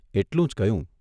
એટલું જ કહ્યું.